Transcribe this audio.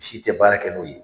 Si tɛ baara kɛ n'o ye